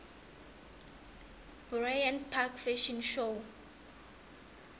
bryant park fashion show